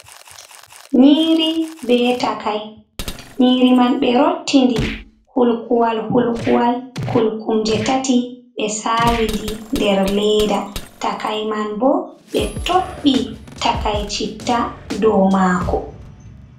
Nyiiri be takai nyiri man be rottinɗi hulkuwal hulkuwal kulkum je tati be sawidi nder leda takai man bo be tobbi takai citta ɗow mako.